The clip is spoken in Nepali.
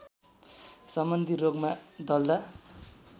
सम्बन्धी रोगमा दल्दा